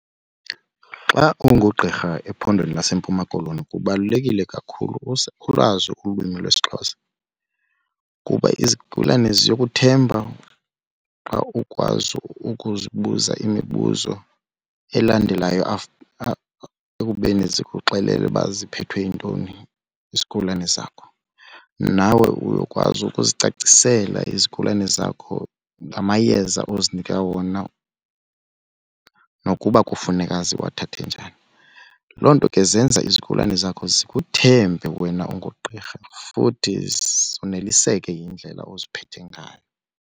Xa ungugqirha ephondweni laseMpuma koloni kubalulekile kakhulu ulwazi ulwimi lwesiXhosa kuba izigulane ziyokuthemba xa ukwazi ukuzibuza imibuzo elandelayo ekubeni zikuxelele ukuba ziphethwe yintoni izigulane zakho. Nawe uyokwazi ubuzicacisela izigulane zakho ngamayeza ozinika wona nokuba kufuneka ziwathathe njani. Loo nto ke zenza izigulane zakho zikuthemba wena ungugqirha futhi zoneliseke yindlela oziphethe ngayo.